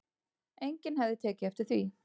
Enginn hefði tekið eftir því